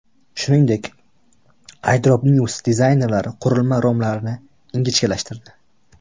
Shuningdek, iDropNews dizaynerlari qurilma romlarini ingichkalashtirdi.